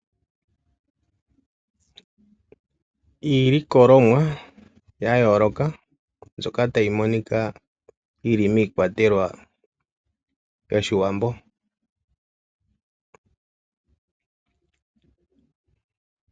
Iilokolomwa ya yooloka mbyoka tayi monika yili miikwatelwa yoshiwambo.